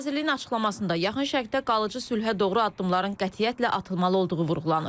Nazirliyin açıqlamasında Yaxın Şərqdə qalıcı sülhə doğru addımların qətiyyətlə atılmalı olduğu vurğulanır.